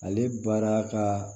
Ale baara ka